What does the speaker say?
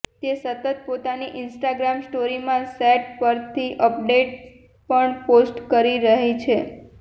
તે સતત પોતાની ઈન્સ્ટાગ્રામ સ્ટોરીમાં સેટ પરથી અપડેટ્સ પણ પોસ્ટ કરી રહી છે